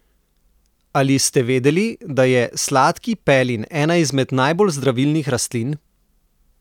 Ali ste vedeli, da je sladki pelin ena izmed najbolj zdravilnih rastlin?